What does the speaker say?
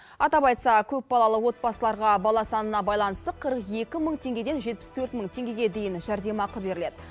атап айтса көпбалалы отбасыларға бала санына байланысты қырық екі мың теңгеден жетпіс төрт мың теңгеге дейін жәрдемақы беріледі